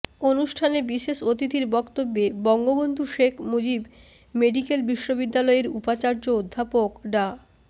অনুষ্ঠানে বিশেষ অতিথির বক্তব্যে বঙ্গবন্ধু শেখ মুজিব মেডিকেল বিশ্ববিদ্যালয়ের উপাচার্য অধ্যাপক ডা